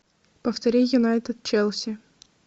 повтори юнайтед челси